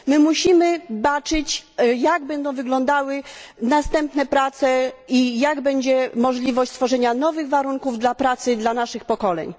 Musimy baczyć, jak będą wyglądały następne prace i jakie będę możliwości stworzenia nowych warunków pracy dla naszych pokoleń.